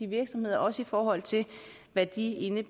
virksomheder også i forhold til hvad de